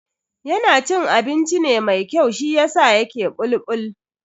Yana cin abinci ne mai kyau shiyasa yake bulbul.